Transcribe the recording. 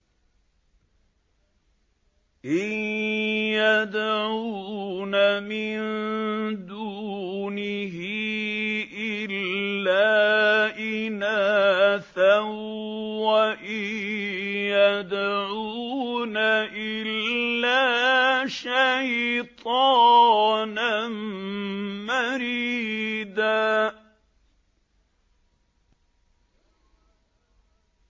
إِن يَدْعُونَ مِن دُونِهِ إِلَّا إِنَاثًا وَإِن يَدْعُونَ إِلَّا شَيْطَانًا مَّرِيدًا